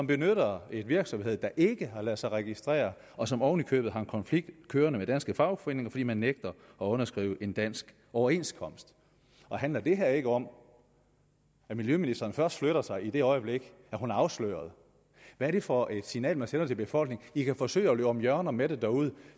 benytter en virksomhed der ikke har ladet sig registrere og som oven i købet har en konflikt kørende med danske fagforeninger fordi man nægter at underskrive en dansk overenskomst handler det her ikke om at miljøministeren først flytter sig i det øjeblik at hun er afsløret hvad er det for et signal man sender til befolkningen i kan forsøge at løbe om hjørner med det derude